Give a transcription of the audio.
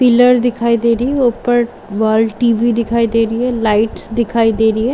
Pillar दिखाई दे रही है ऊपर वॉल टी.वी दिखाई दे रही है लाइट्स दिखाई दे रही है।